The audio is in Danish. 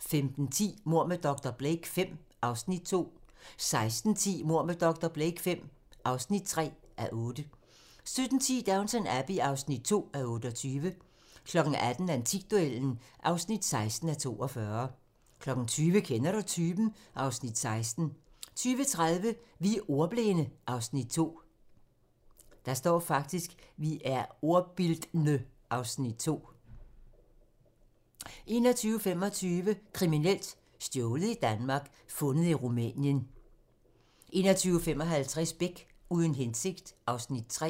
15:10: Mord med dr. Blake V (2:8) 16:10: Mord med dr. Blake V (3:8) 17:10: Downton Abbey (2:28) 18:00: Antikduellen (16:42) 20:00: Kender du typen? (Afs. 16) 20:30: Vi er ordbildne (Afs. 2) 21:25: Kriminelt: Stjålet i Danmark, fundet i Rumænien 21:55: Beck: Uden hensigt (Afs. 3)